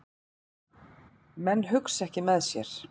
Menn hugsa ekki með sér